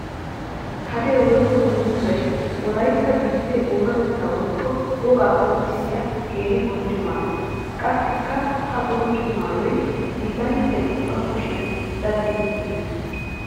Hadee woykko dungguzay wolaytta biitte oonatetta woykko wogaa qonccissiya keehi bonchcho maayo. Qassikka ha bonchcho maayoy hiillanchchay ba kushiyan daddin giiges.